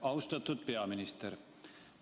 Austatud peaminister!